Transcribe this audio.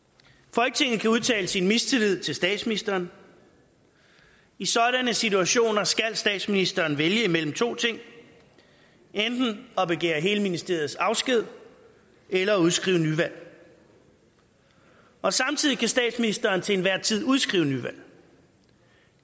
folketinget kan også udtale sin mistillid til statsministeren i sådanne situationer skal statsministeren vælge mellem to ting enten at begære hele ministeriets afsked eller udskrive nyvalg og samtidig kan statsministeren til enhver tid udskrive nyvalg